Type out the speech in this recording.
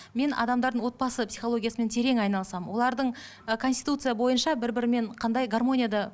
мен адамдардың отбасы психологиясымен терең айналысамын олардың ы конституция бойынша бір бірімен қандай гармонияда